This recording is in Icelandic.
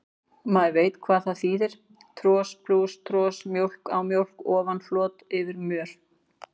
Maður veit hvað það þýðir, tros plús tros, mjólk á mjólk ofan, flot yfir mör.